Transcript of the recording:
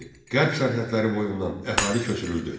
Qərb sərhədləri boyundan əhali köçürüldü.